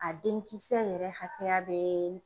A denkisɛ yɛrɛ hakɛya bɛ